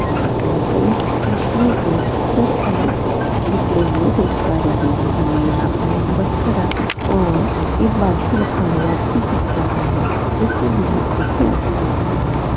इनमें से हम कई मछलियों के सर अलग निकले हुए देख पा रहे है हमें यहाँ पर एक बकरा और एक बाल्टी रखा हुआ भी दिख रहा हैं देखने में यह दृश्य अच्छा लग रहा है।